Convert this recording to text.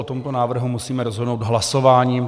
O tomto návrhu musíme rozhodnout hlasováním.